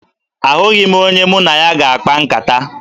Ahụghị m onye mụ na ya ga-akpa nkata.